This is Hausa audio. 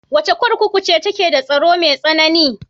Wace kurkuku ce take da tsaro mai tsanani?